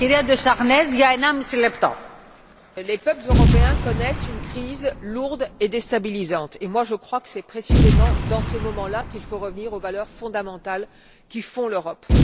Madame la Présidente, les peuples européens connaissent une crise lourde et déstabilisante. Je pense que c'est précisément dans ces moments là qu'il faut revenir aux valeurs fondamentales qui font l'Europe.